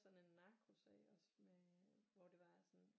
Sådan en narkosag også med hvor det var at sådan